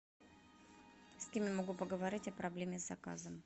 с кем я могу поговорить о проблеме с заказом